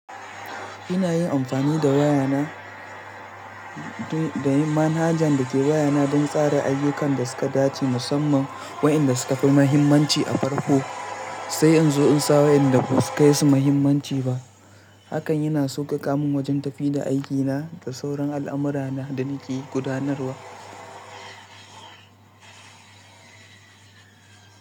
Ina yin amfani da manhajan da ke wayana don tsara ayyukan da suka dace, musamman waɗanda suka fi mahimmanci a farko, sai in zo in sa waɗanda ba su kai su mahimmanci ba. Hakan yana sauƙaƙa min wajen tafi da aikina da sauran al'amura na da nake gudanarwa.